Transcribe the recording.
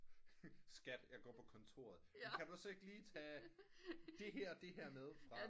Skat jeg går på kontoret men kan du så ikke lige tage det her og det her med fra